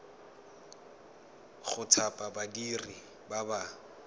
go thapa badiri ba ba